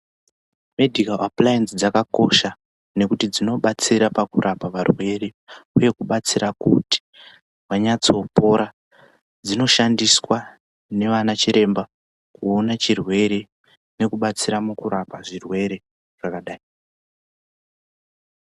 Medhikawu apulayenzi dzakakosha ngekuti dzino batsira pakurapa varwere uye kubatsira kuti vanyatso pora dzino shandiswa nevana chiremba kuona chirwere neku batsira muku rapa zvirwere zvakadai .